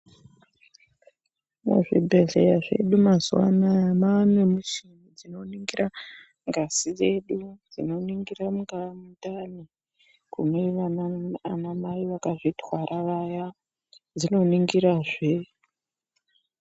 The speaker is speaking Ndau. Muzvibhedhleya zvedu mazuwa anaa maanemichini dzinoningira ngazi yedu, dzinoningira mundani kune anamai vakazvitwara vaya dzinoningirazve.